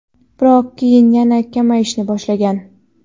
biroq keyin yana kamayishni boshlagan.